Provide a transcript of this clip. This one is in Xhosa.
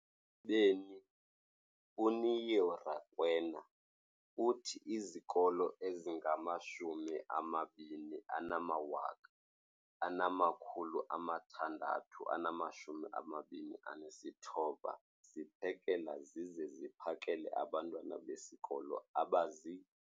beni, uNeo Rakwena, uthi izikolo ezingama-20 619 ziphekela zize ziphakele abantwana besikolo abazi-